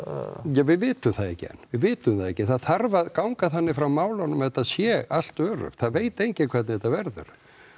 við vitum það ekki enn við vitum það ekki það þarf að ganga þannig frá málunum að þetta sé allt öruggt það veit enginn hvernig þetta verður